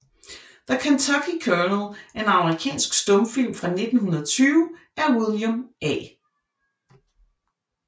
The Kentucky Colonel er en amerikansk stumfilm fra 1920 af William A